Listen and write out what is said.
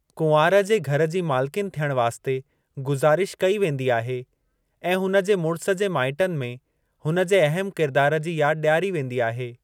कुंवार खे घर जी मालकिन थियणु वास्ते गुज़ारिश कई वेंदी आहे ऐं हुन जे मुड़िसु जे माइटनि में हुन जे अहम किरदार जी याद डि॒यारी वेंदी आहे।